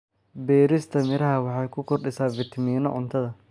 Beerista miraha waxay ku kordhisaa fitamiino cuntada.